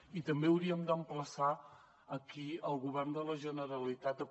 i també hauríem d’emplaçar aquí el govern de la generalitat a que